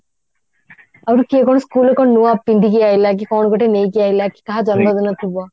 ଆହୁରି କିଏ କଣ school ରେ କଣ ନୂଆ ପିନ୍ଧିକି ଆଇଲା କି କଣ ଗୋଟେ ନେଇକି ଆଇଲା କାହା ଜନ୍ମଦିନ ଥିବ